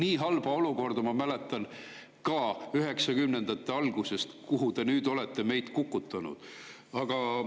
Nii halba olukorda, kuhu te nüüd olete meid kukutanud, ma mäletan üheksakümnendate algusest.